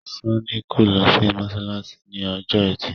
Sanni kò ló sì masalasi ní Ọjọ́ Ẹti.